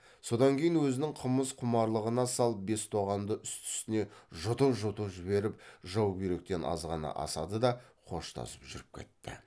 содан кейін өзінің қымыз құмарлығына салып бес тоғанды үсті үстіне жұтып жұтып жіберіп жаубүйректен азғана асады да қоштасып жүріп кетті